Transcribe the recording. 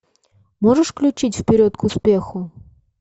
можешь включить вперед к успеху